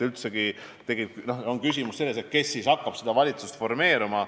Küsimus on selles, kes hakkab valitsust formeerima.